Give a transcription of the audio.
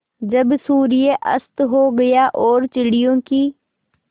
जब सूर्य अस्त हो गया और चिड़ियों की